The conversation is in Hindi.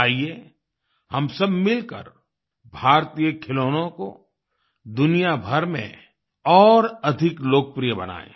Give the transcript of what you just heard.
आईये हम सब मिलकर भारतीय खिलौनों को दुनियाभर में और अधिक लोकप्रिय बनायें